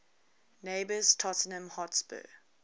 neighbours tottenham hotspur